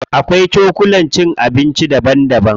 Akwai cokulan cin abinci daban daban.